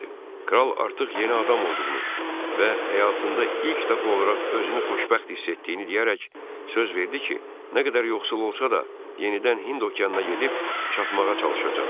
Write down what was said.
Kral artıq yeni adam olduğunu və həyatında ilk dəfə olaraq özünü xoşbəxt hiss etdiyini deyərək söz verdi ki, nə qədər yoxsul olsa da, yenidən Hind okeanına gedib çatmağa çalışacaq.